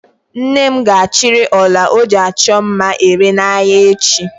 Nne m ga-achịrị ọla ọ ji achọ mma ere n'ahịa echi.